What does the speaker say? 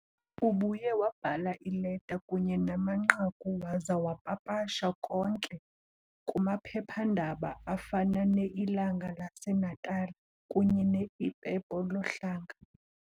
Ubuye wabhala iileta kunye namanqaku waza wapapasha konke kumaphepha-ndaba afana "ne-Ilanga laseNatala" kunye "ne-Ipepo Lo Hlanga" .